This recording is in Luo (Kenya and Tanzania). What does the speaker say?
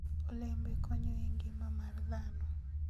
olembe konyo e ngima mar dhano